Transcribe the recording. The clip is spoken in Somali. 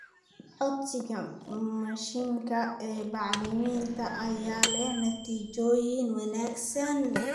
Codsiga mashiinka ee bacriminta ayaa leh natiijooyin wanaagsan.